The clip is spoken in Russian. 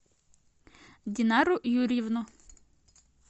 динару юрьевну